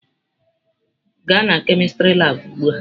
Gaa na kemistri labụ ugbu a!